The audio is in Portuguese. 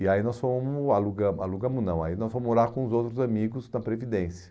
E aí nós fomos, alugamos alugamos não, aí nós fomos morar com os outros amigos da Previdência.